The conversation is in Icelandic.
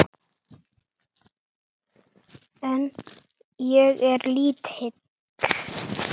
En ég er lítil.